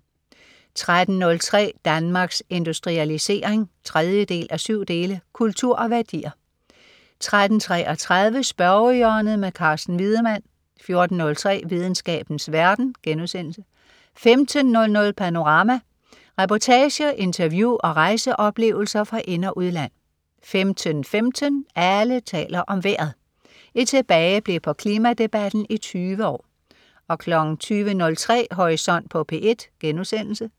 13.03 Danmarks Industrialisering 3:7. Kultur og værdier 13.33 Spørgehjørnet. Carsten Wiedemann 14.03 Videnskabens verden* 15.00 Panorama. Reportager, interview og rejseoplevelser fra ind- og udland 15.15 Alle taler om vejret. Et tilbageblik på klimadebatten i 20 år 20.03 Horisont på P1*